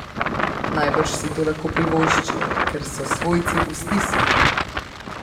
Najbrž si to lahko privoščijo, ker so svojci v stiski.